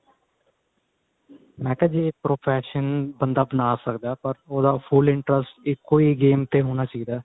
ਮੇਂ ਕਿਹਾ ਜੇ profession ਬੰਦਾ ਆਪਣਾ ਸਕਦਾ ਪਰ full interest ਇੱਕੋ ਈ game ਤੇ ਹੋਣੇ ਚਾਹੀਦਾ